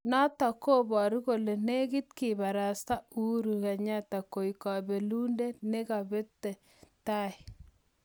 Notok kobaru kole negiit kibarasta Uhuru kenyatta koek kabelindet kebebeta netai.